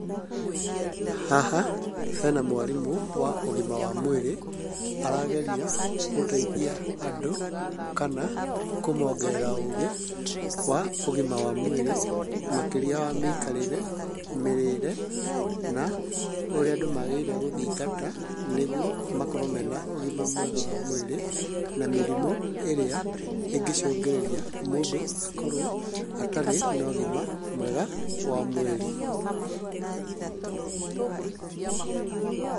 Haha hena mwarimũ wa ũgima wa mwĩrĩ, arageria gũteithia andũ kana kũmongerera ũgĩ wa ũgima wa mwĩrĩ, makĩria wa mĩikarĩre, mĩrĩre na ũrĩa andũ magĩrĩire gũthingata nĩguo makorwo mena ũgima mwega wa mwĩrĩ, na mĩrimũ ĩrĩa ĩngĩcũngĩrĩria mũndũ akorwo atarĩ no ũgima mwega wa mwĩrĩ.